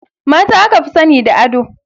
Mata aka fi sani da ado.